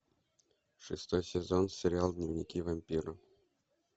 шестой сезон сериал дневники вампира